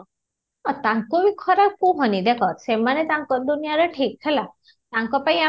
ତାଙ୍କୁ ବି ଖରାପ କୁହନି ଦେଖ ସେମାନେ ତାଙ୍କ ଦୁନିଆରେ ଠିକ ହେଲା ୟାଙ୍କ ପାଇଁ